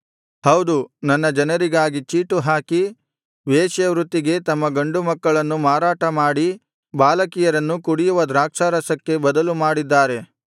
ಹೌದು ನನ್ನ ಜನರಿಗಾಗಿ ಚೀಟುಹಾಕಿ ವೇಶ್ಯ ವೃತ್ತಿಗೆ ತಮ್ಮ ಗಂಡು ಮಕ್ಕಳನ್ನು ಮಾರಾಟ ಮಾಡಿ ಬಾಲಕಿಯರನ್ನು ಕುಡಿಯುವ ದ್ರಾಕ್ಷಾರಸಕ್ಕೆ ಬದಲು ಮಾಡಿದ್ದಾರೆ